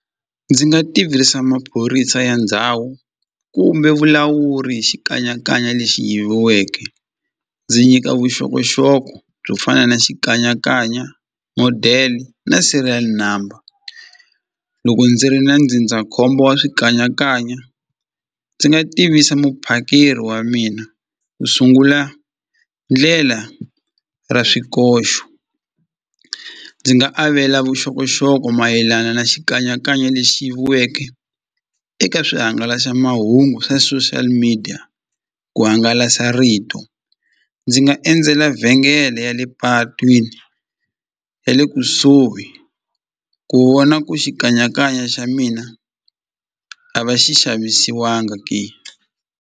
Ndzi nga tivisa maphorisa ya ndhawu kumbe vulawuri hi xikanyakanya lexi yiviweke ndzi nyika vuxokoxoko byo fana na xikanyakanya model na serial number loko ndzi ri na ndzindzakhombo wa swikanyakanya ndzi nga tivisa muphakeri wa mina u sungula ndlela ra swikoxo ndzi nga avela vuxokoxoko mayelana na xikanyakanya lexi yiviweke eka swihangalasamahungu swa social media ku hangalasa rito ndzi nga endzela vhengele ya le patwini ya le kusuhi ku vona ku xikanyakanya xa mina a va xi xavisiwanga ke.